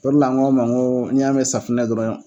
O de la n ko a ma n ko n'i y'a mɛn safinɛ dɔrɔn